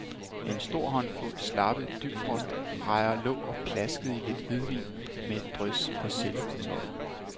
En stor håndfuld slappe dybfrostrejer lå og plaskede i lidt hvidvin med et drys persille på toppen.